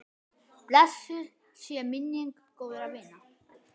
Blessuð sé minning góðra vina.